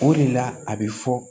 O de la a bɛ fɔ